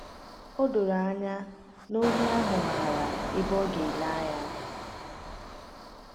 O doro anya na ohi ahụ maara ebe ọ ga-ele anya.